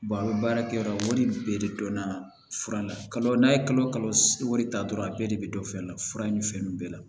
a bɛ baara kɛ yɔrɔ wɛrɛ bɛɛ de dɔnna fura la kalo n'a ye kalo kalo wari ta dɔrɔn a bɛɛ de bɛ dɔ fɛn na fura ni fɛn bɛɛ la